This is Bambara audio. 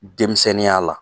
Denmisɛnninya la.